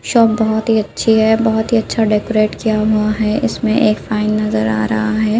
Shop बहोत ही अच्छी है बहोत ही अच्छा डेकोरेट किया हुआं है इसमें एक फाइन नजर आ रहा है।